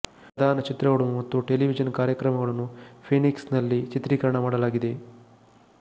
ಪ್ರಧಾನ ಚಿತ್ರಗಳು ಮತ್ತು ಟೆಲೆವಿಜನ್ ಕಾರ್ಯಕ್ರಮಗಳನ್ನು ಫೀನಿಕ್ಸ್ ನಲ್ಲಿ ಚಿತ್ರೀಕರಣ ಮಾಡಲಾಗಿದೆ